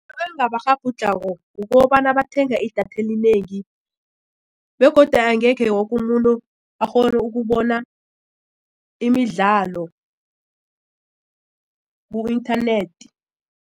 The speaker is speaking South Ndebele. kukobana bathenga idatha elinengi begodu angekhe wokumuntu akghone ukubona imidlalo ku-inthanethi.